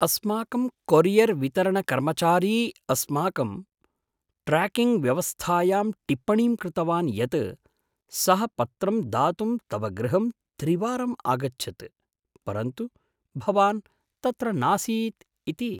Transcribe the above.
अस्माकं कोरियर्वितरणकर्मचारी अस्माकं ट्र्याकिंग्व्यवस्थायां टिप्पणीं कृतवान् यत् सः पत्रं दातुं तव गृहं त्रिवारं आगच्छत्, परन्तु भवान् तत्र नासीत् इति।